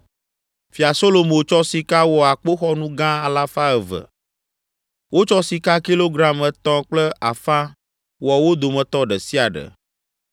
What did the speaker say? Fia Solomo tsɔ sika wɔ akpoxɔnu gã alafa eve (200). Wotsɔ sika kilogram etɔ̃ kple afã wɔ wo dometɔ ɖe sia ɖe.